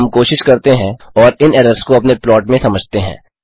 अब हम कोशिश करते हैं और इन एरर्स को अपने प्लॉट में समझते हैं